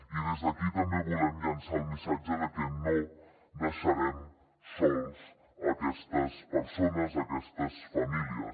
i des d’aquí també volem llançar el missatge de que no deixarem soles aquestes persones aquestes famílies